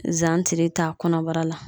Zantiri t'a kɔnɔbara la.